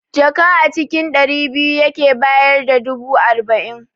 Jaka a cikin ɗari biyu yake bayar da dubu arba'in